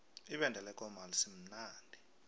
ibende lekomo alisimnandi